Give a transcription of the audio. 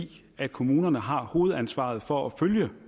at kommunerne har hovedansvaret for at følge